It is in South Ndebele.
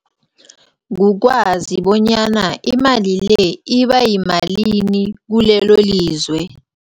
Kukwazi bonyana imali le ibayimalini kulelolizwe.